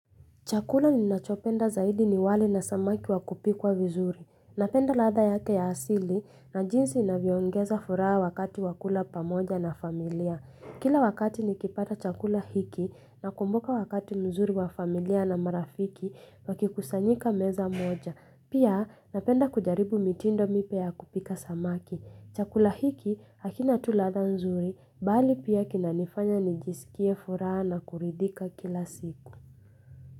Chakula ninachopenda zaidi ni wali na samaki wa kupikwa vizuri. Napenda ladha yake ya asili na jinsi inavyoongeza furaha wakati wa kula pamoja na familia. Kila wakati nikipata chakula hiki nakumbuka wakati mzuri wa familia na marafiki wakikusanyika meza moja. Pia napenda kujaribu mitindo mipya ya kupika samaki. Chakula hiki hakina tu ladha nzuri bali pia kinanifanya nijisikie furaha na kuridhika kila siku.